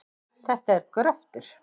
Þetta er gröftur.